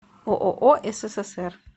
ооо ссср